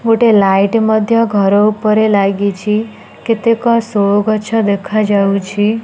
ଗୋଟେ ଲାଇଟ୍ ମଧ୍ୟ ଘର ଉପରେ ଲାଗିଛି କେତେକ ସୋ ଗଛ ଦେଖାଯାଉଛି।